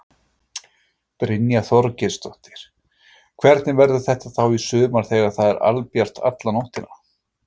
Brynja Þorgeirsdóttir: Hvernig verður þetta þá í sumar þegar það er albjart alla nóttina?